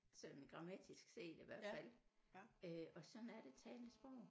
Sådan grammatisk set i hvert fald øh og sådan er det talte sprog